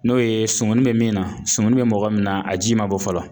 N'o ye sumuni be min na sumuni be mɔgɔ min na a ji ma bɔ fɔlɔ